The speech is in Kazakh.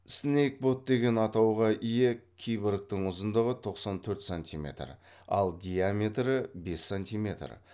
снейкбот деген атауға ие киборгтың ұзындығы тоқсан төрт сантиметр ал диаметрі бес сантиметр